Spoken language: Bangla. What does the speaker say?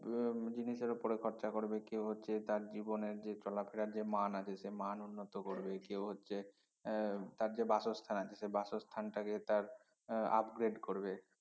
উহ জিনিসের উপরে খরচা করবে কেউ হচ্ছে তার জীবনে যে চলাফেরার যে মান আছে সে মান উন্নত করবে কেউ হচ্ছে আহ তার যে বাসস্থান আছে সে বাসস্থানটাকে তার এর upgrade করবে